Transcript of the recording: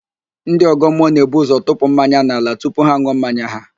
Ndị ọ̀gọ́mmụọ na-eburu ụzọ tụpụ mmanya n'ala tupu ha an̄ụọ mmanya ha